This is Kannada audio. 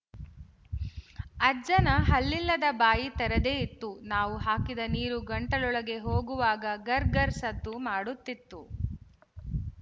ಅಜ್ಜನ ಹಲ್ಲಿಲ್ಲದ ಬಾಯಿ ತೆರೆದೇ ಇತ್ತು ನಾವು ಹಾಕಿದ ನೀರು ಗಂಟಲೊಳಗೆ ಹೋಗುವಾಗ ಗರ್‍ಗರ್ ಸದ್ದು ಮಾಡುತ್ತಿತ್ತು